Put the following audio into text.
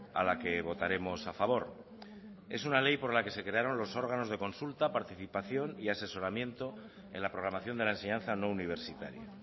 a la que votaremos a favor es una ley por la que se crearon los órganos de consulta participación y asesoramiento en la programación de la enseñanza no universitaria